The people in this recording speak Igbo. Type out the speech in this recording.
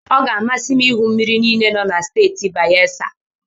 Ọ ga-amasị m ịhụ mmiri niile nọ na Steeti Bayesa.